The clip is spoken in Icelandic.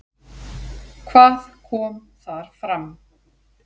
Hvað kom þar fram?